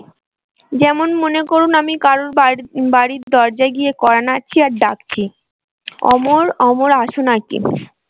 যেমন মনে করুন আমি কারোর বাড়ির দরজায় গিয়ে কড়া নাড়ছি আর ডাকছি অমর অমর আছো নাকি?